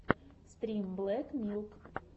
стрим блэк милк